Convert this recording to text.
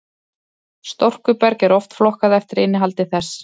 storkuberg er oft flokkað eftir innihaldi þess